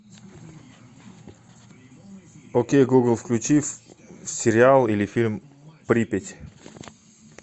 окей гугл включи сериал или фильм припять